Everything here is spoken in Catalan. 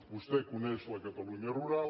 vostè coneix la catalunya rural